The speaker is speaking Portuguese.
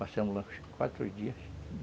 Passamos lá uns quatro dias.